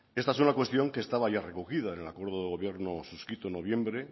esta es una cuestión que estaba ya recogido en el acuerdo de gobierno suscrito en noviembre